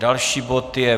Další bod je